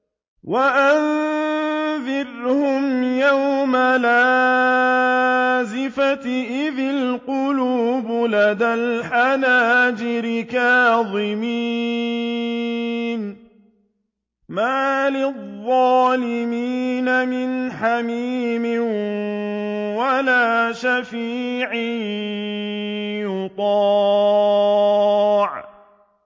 وَأَنذِرْهُمْ يَوْمَ الْآزِفَةِ إِذِ الْقُلُوبُ لَدَى الْحَنَاجِرِ كَاظِمِينَ ۚ مَا لِلظَّالِمِينَ مِنْ حَمِيمٍ وَلَا شَفِيعٍ يُطَاعُ